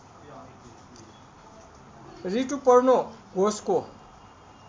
रितुपर्नो घोषको